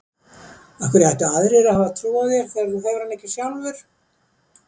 Af hverju ættu aðrir að hafa trú á þér þegar þú hefur hana ekki sjálfur?